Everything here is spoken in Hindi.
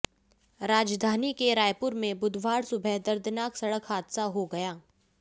राजधानी के रायपुर में बुधवार सुबह दर्दनाक सड़क हादसा हो गया